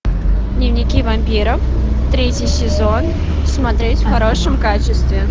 дневники вампира третий сезон смотреть в хорошем качестве